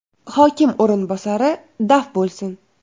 hokim o‘rinbosari daf bo‘lsin!